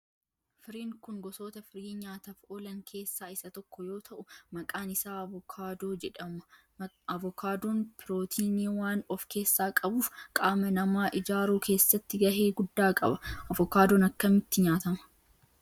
Firiin kun gosoota firii nyaataf oolan keessaa isa tokko yoo ta'u maqaan isaa avokaadoo jedhama. Avokaadoon pirootinii waan of keessaa qabuf qaama namaa ijaaruu keessatti gahee guddaa qaba. avokaadoon akkamitti nyaatama?